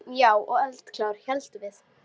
Ákveðin, já, og eldklár, héldum við.